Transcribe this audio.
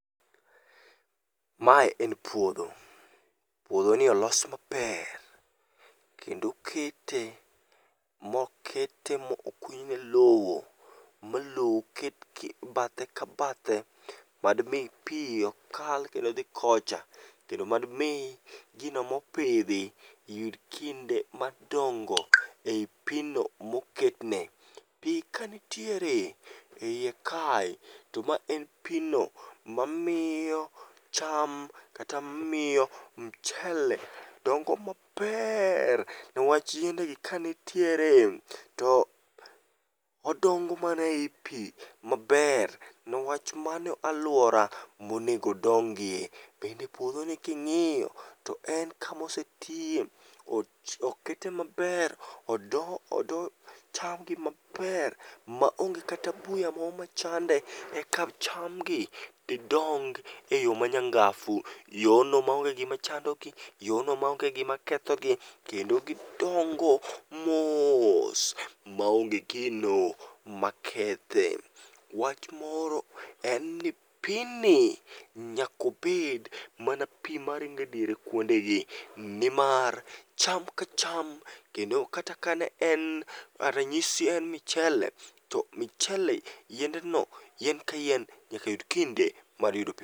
Mae en puodho. Puodhoni olos maber, kendo okete mokete moo kunyne lowo malowo oket e bathe ka bathe madmi pi ok kal kendo dhi kocha kendo madmi gino mopidhi yud kinde mar dongo ei pigno moketne. Pi kantiere e iye kae to ma en pino mamiyo cham kata miyo mchele dongo mabeer nwach yiende gi kanitiere to odongo mana e i pi maber ma nwach mano alwora monego odongie bende puodhoni king'iyo to en kama osetiye okete maber odo chamgi maber maonge kata buya mo machande eka chamgi didong e yo manyangafu, yono maonge gima chandogi yono maonge gima kethogi kendo gidongo moos maonge gino makethe. Wach moro en ni pini nyakobed mana pi maringe diere kuondegi nimar cham ka cham kendo kata ka ne en ranyisi en michele to michele yiendeno yien ka yien nyaka yud kinde mar yudo pi.